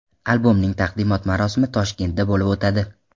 Albomning taqdimot marosimi Toshkentda bo‘lib o‘tadi.